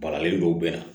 Baralen dɔw bɛ na